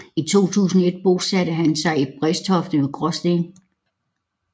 I 2001 bosatte han sig i Brædstoft ved Gråsten